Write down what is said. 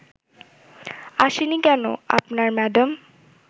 আসেনি কেন আপনার ম্যাডাম